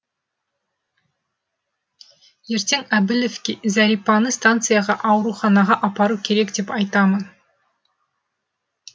ертең әбілевке зәрипаны станцияғы ауруханаға апару керек деп айтамын